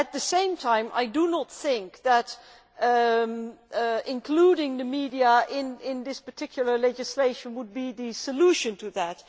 At the same time, I do not think that including the media in this particular legislation would be the solution to that